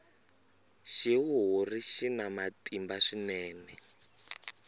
xihuhuri xina matimba swinene